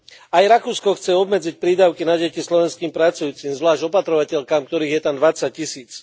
Aj Rakúsko chce obmedziť prídavky na deti slovenským pracujúcim, zvlášť opatrovateľkám, ktorých je tam 20 tisíc.